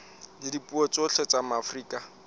la dipuo tsohle tsa afrika